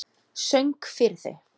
Söng fyrir þau.